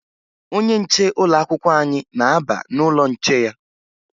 Onye nche ụlọakwụkwọ anyị na-aba n'ụlọ nche ya